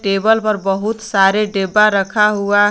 Table पर बहुत सारे डिब्बा रखा हुआ है।